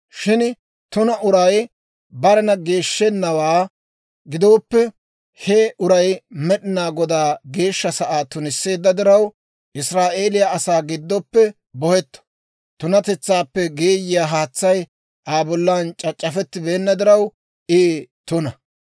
«Shin tuna uray barena geeshshennawaa gidooppe, he uray Med'inaa Godaa geeshsha sa'aa tunisseedda diraw, Israa'eeliyaa asaa giddoppe bohetto; tunatetsaappe geeyiyaa haatsay Aa bollan c'ac'c'afettibeenna diraw, I tuna.